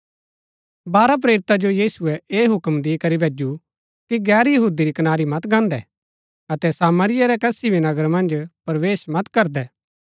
बारह प्रेरिता जो यीशुऐ ऐह हुक्म दी करी भैजु कि गैर यहूदी री कनारी मत गान्दै अतै सामरिया रै कसी भी नगर मन्ज प्रवेश मत करदै